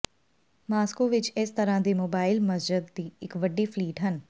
Moscow ਵਿੱਚ ਇਸ ਤਰ੍ਹਾਂ ਦੀ ਮੋਬਾਇਲ ਮਸਜਦ ਦੀ ਇੱਕ ਵੱਡੀ ਫਲੀਟ ਹਨ